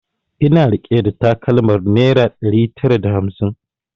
Ina rike da takalmar naira ɗari tara da hamsin